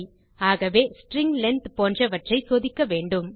ஆகவே string length போன்றவற்றை சோதிக்க வேண்டும்